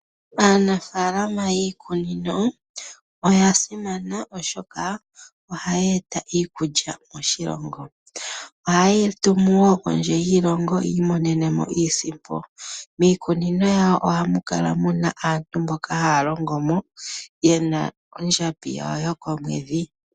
Aanafaalama yiikunino oya simana oshoka oha ye eta iikulya moshilongo. Oha ye yi tumu wo kondje yiilongo yi imonene mo iisimpo. Miikunino yawo ohamu kala muna aantu mboka haya longo mo, ye na ondjambi yawo yokomwedhi.